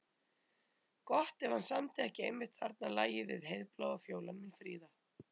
Gott ef hann samdi ekki einmitt þarna lagið við Heiðbláa fjólan mín fríða.